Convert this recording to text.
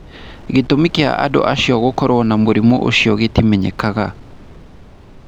Gĩtũmi kĩa andũ acio gũkorwo na mũrimũ ũcio gĩtimenyekaga.